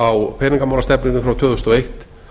á peningamálastefnunni frá tvö þúsund og eitt